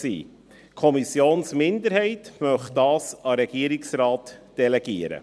Die Kommissionsminderheit möchte dies an den Regierungsrat delegieren.